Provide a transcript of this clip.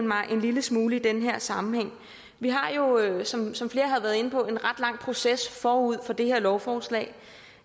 mig en lille smule i den her sammenhæng vi har jo som som flere har været inde på en ret lang proces forud for det her lovforslag